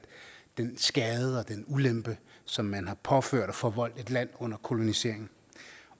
den skade og den ulempe som man har påført og forvoldt et land under kolonisering